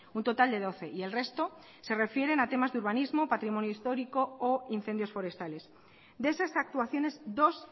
un total de doce y el resto se refieren a temas de urbanismo patrimonio histórico o incendios forestales de esas actuaciones dos